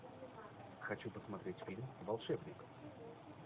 хочу посмотреть фильм волшебник